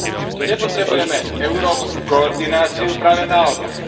Tu nepotrebujeme európsku koordináciu, práve naopak.